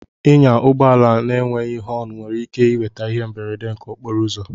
Ịnya ụgbọ ala enweghị họn nwere ike iweta ihe mberede nke okporo ụzọ